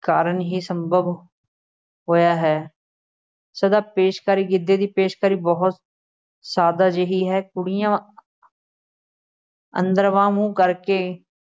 ਕਾਰਨ ਹੀ ਸੰਭਵ ਹੋਇਆ ਹੈ, ਸਦਾ ਪੇਸ਼ਕਾਰੀ, ਗਿੱਧੇ ਦੀ ਪੇਸ਼ਕਾਰੀ ਬਹੁਤ ਸਾਦਾ ਜਿਹੀ ਹੈ, ਕੁੜੀਆਂ ਅੰਦਰ ਬਾਂਹ ਮੂੰਹ ਕਰਕੇ